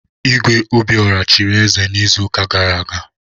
Igwe Obiora chiri eze n'izuụka gara aga.